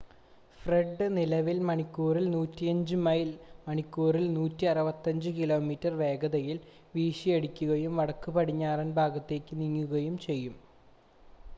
Fred നിലവിൽ മണിക്കൂറിൽ 105 mile മണിക്കൂറിൽ 165 കിലോമീറ്റർ വേഗതയിൽ വീശിയടിക്കുകയും വടക്കുപടിഞ്ഞാറൻ ഭാഗത്തേക്ക് നീങ്ങുകയും ചെയ്യുന്നു